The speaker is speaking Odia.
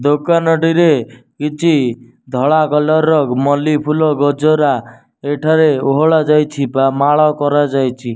ଦୋକନଟିରେ କିଛି ଧଳା କଲର୍ ର ମଲ୍ଲି ଫୁଲ ଗଜରା ଏଠାରେ ଓହଳା ଯାଇଛି ବା ମାଳ କରା ଯାଇଛି।